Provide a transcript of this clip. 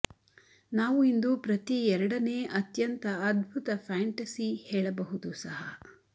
ನಾವು ಇಂದು ಪ್ರತಿ ಎರಡನೇ ಅತ್ಯಂತ ಅದ್ಭುತ ಫ್ಯಾಂಟಸಿ ಹೇಳಬಹುದು ಸಹ